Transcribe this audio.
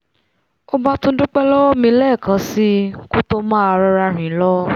ó bá tún dúpẹ́ lọ́wọ́ mi lẹ́ẹ̀kan síi kó tó máa rọra rìn lọ